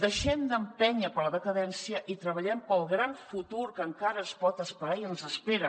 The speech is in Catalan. deixem d’empènyer per la decadència i treballem pel gran futur que encara es pot esperar i ens espera